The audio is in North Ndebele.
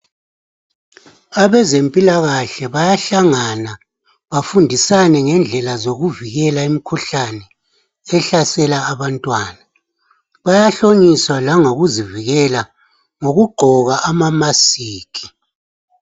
Abezempilakahle bayahlangana bafundisane ngendlela zokuvikela imikhuhlane ehlasela abantwana bayahlonyiswa langokuzivikela ngokugqoka ama masiki.